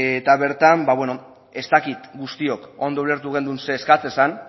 eta bertan ez dakit guztiok ondo ulertu genuen zer eskatzen zen